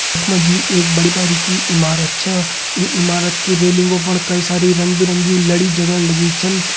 यख मा जी एक बड़ी बारिकी इमारत छा ईं इमारत की रैलिंगो फण कई सारी रंग बिरंगी लड़ी जगण लगीं छन।